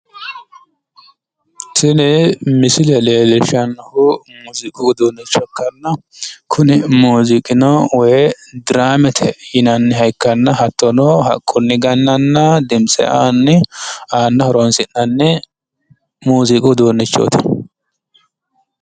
Tini misile leellishshannohu muuziiqu uduunnicho ikkanna kuni muuziiqino diraamete yinanniha ikkanna hattono haqqunni gannanna dimtse aanni aanna horoonsi'nanni muuziiqu uduunnichooti.